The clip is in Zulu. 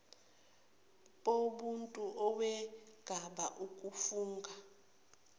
bomuntu owenqaba ukufunga